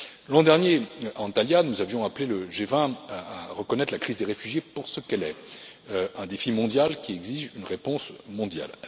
L'an dernier à Antalya, nous avions appelé le G20 à reconnaître la crise des réfugiés pour ce qu'elle est un défi mondial qui exige une réponse mondiale.